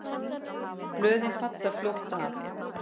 Blöðin falla fljótt af.